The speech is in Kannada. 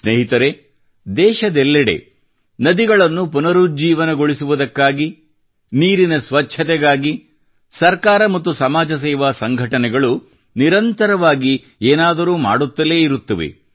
ಸ್ನೇಹಿತರೇ ದೇಶದೆಲ್ಲೆಡೆ ನದಿಗಳನ್ನು ಪುನರುಜ್ಜೀವನಗೊಳಿಸುವುದಕ್ಕಾಗಿ ನೀರಿನ ಸ್ವಚ್ಚತೆಗಾಗಿ ಸರ್ಕಾರ ಮತ್ತು ಸಮಾಜಸೇವಾ ಸಂಘಟನೆಗಳು ನಿರಂತರವಾಗಿ ಏನಾದರೂ ಮಾಡುತ್ತಲೇ ಇರುತ್ತವೆ